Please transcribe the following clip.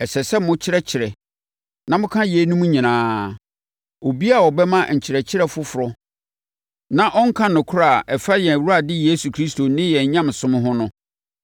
Ɛsɛ sɛ mokyerɛkyerɛ na moka yeinom nyinaa. Obiara a ɔbɛma nkyerɛkyerɛ foforɔ na ɔnka nokorɛ a ɛfa yɛn Awurade Yesu Kristo ne yɛn nyamesom ho no